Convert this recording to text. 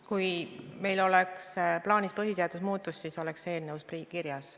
Kui meil oleks plaanis põhiseadust muuta, siis oleks see eelnõus kirjas.